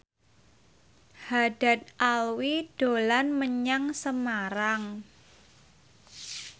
Haddad Alwi dolan menyang Semarang